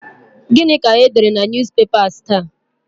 Gịnị ka e dere na Newspapers taa?